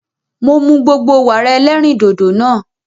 Mo mu gbogbo Wàrà ẹlẹ́rìndòdò nàa.